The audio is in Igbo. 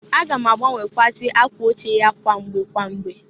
A ga m agbanwekwụazị akwa oche ya kwamgbe kwamgbe.